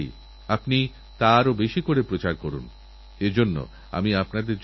কিছুদিনআগে পুনের এক মেয়ে সোনালএর উদাহরণ আমার মনে আসছে ও আমার হৃদয়কে স্পর্শ করেছে